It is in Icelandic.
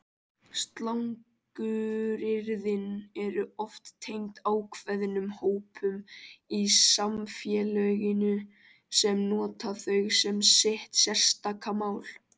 Slanguryrðin eru oft tengd ákveðnum hópum í samfélaginu sem nota þau sem sitt sérstaka mál.